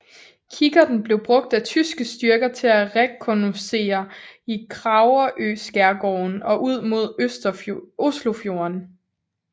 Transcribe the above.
Kikkerten blev brugt af tyske styrker til at rekognoscere i Kragerøskærgården og ud mod Oslofjorden